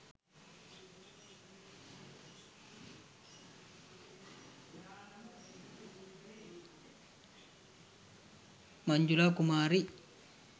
manjula kumari